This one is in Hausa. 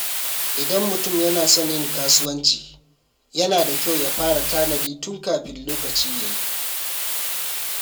Idan mutum yana son yin kasuwanci, yana da kyau ya fara tanadi tun kafin lokaci ya yi.